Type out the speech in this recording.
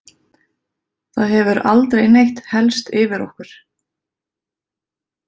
Það hefur aldrei neitt hellst yfir okkur.